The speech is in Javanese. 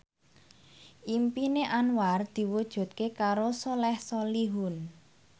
impine Anwar diwujudke karo Soleh Solihun